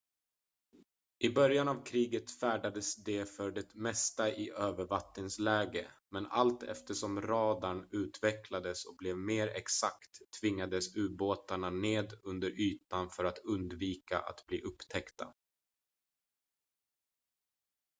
i början av kriget färdades de för det mesta i övervattensläge men allt eftersom radarn utvecklades och blev mer exakt tvingades ubåtarna ned under ytan för att undvika att bli upptäckta